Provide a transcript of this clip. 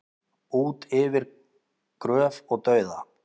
Út yfir gröf og dauða